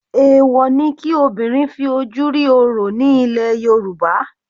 Èwọ̀ ni kí obìnrin fi ojú rí orò ní ilẹ̀ Yorùbá.